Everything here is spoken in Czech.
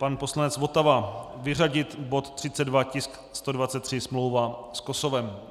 Pan poslanec Votava, vyřadit bod 32, tisk 123, smlouva s Kosovem.